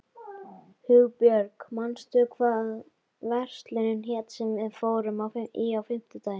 Hugbjörg, manstu hvað verslunin hét sem við fórum í á fimmtudaginn?